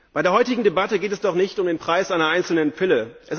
Bei der heutigen Debatte geht es doch nicht um den Preis einer einzelnen Pille.